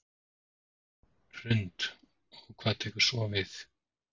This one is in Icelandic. Hrund: Og hvað tekur svo við?